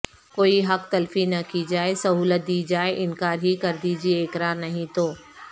کوئی حق تلفی نہ کی جائے سہولت دی جائے انکار ہی کردیجئے اقرار نہیں تو